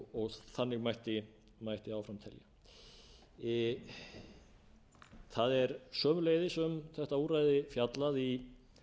og þannig mætti áfram telja það er sömuleiðis um þetta úrræði fjallað í